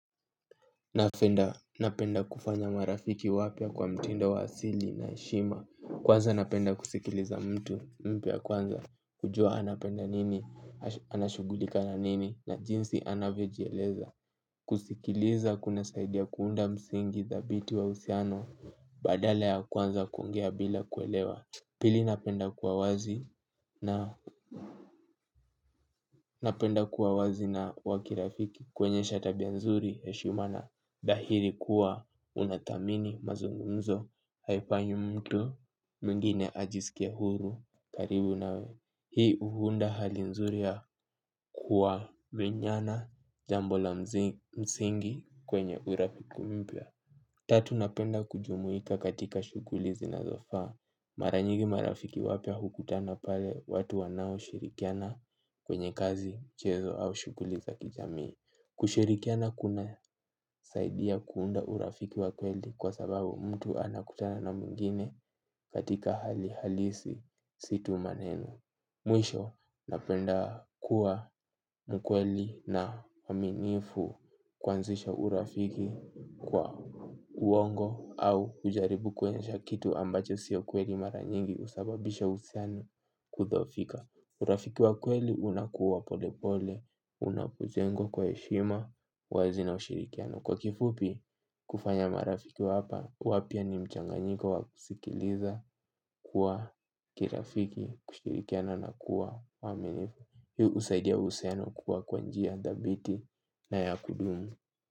Napenda napenda kufanya marafiki wapya kwa mtindo wa asili na heshima. Kwanza napenda kusikiliza mtu mpya kwanza kujuwa anapenda nini, anashughulika na nini, na jinsi anavyojieleza. Kusikiliza kuna saidia kuunda msingi dhabiti wa uhusiano. Badala ya kwanza kuongea bila kuelewa. Pili napenda kuwa wazi na napenda kuwa wazi na wa kirafiki kuonyesha tabia nzuri, heshima na dhahiri kuwa unathamini mazungumzo haifanyi mtu mwingine ajisikie huru karibu nawe. Hii huunda hali nzuri ya kuwa menyana jambo la msingi kwenye urafiki mpya, tatu napenda kujumuika katika shughuli zinazofaa. Mara nyigi marafiki wapya hukutana pale watu wanao shirikiana kwenye kazi mchezo au shughuliza kijamii. Kushirikiana kuna saidia kuunda urafiki wa kweli kwa sababu mtu anakutana na mwingine katika hali halisi sio tu maneno. Mwisho napenda kuwa mkweli na mwaminifu kuanzisha urafiki kwa uongo au kujaribu kuensha kitu ambacho si kweli mara nyingi husababisha uhusiano kudhoofika urafiki wa kweli unakuwa polepole, unapo jengwa kwa heshima, wazi na ushirikiano. Kwa kifupi, kufanya marafiki wapa, wapya ni mchanganyiko wa kusikiliza kuwa kirafiki, kushirikiana na kuwa, mwaminifu. Hi husaidia uhusiano kuwa kwa njia, dhabiti na ya kudumu.